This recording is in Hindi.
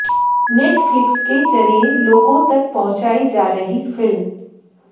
नेटफ्लिक्स के जरिए लोगों तक पहुंचाई जा रही फिल्म